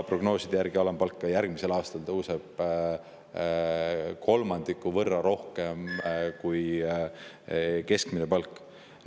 Prognooside järgi tõuseb alampalk ka järgmisel aastal kolmandiku võrra rohkem kui keskmine palk.